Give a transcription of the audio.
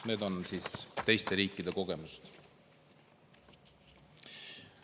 Need on siis teiste riikide kogemused.